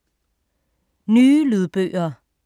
Nye lydbøger